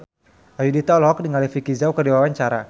Ayudhita olohok ningali Vicki Zao keur diwawancara